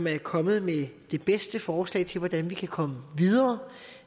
er kommet med det bedste forslag til hvordan vi kan komme videre